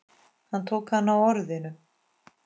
Hann tók hana á orðinu.